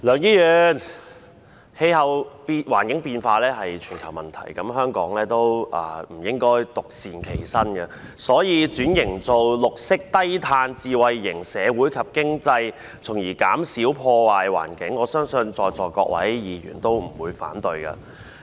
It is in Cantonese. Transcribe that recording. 梁議員，氣候變化是全球問題，香港也不應該獨善其身，所以轉型為綠色低碳智慧型社會及經濟，從而減少破壞環境，我相信在座各位議員都不會反對。